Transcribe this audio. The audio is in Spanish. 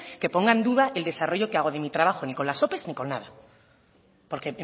que ponga en duda el desarrollo que hago de mi trabajo ni con las ope ni con nada porque